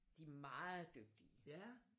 De er meget dygtige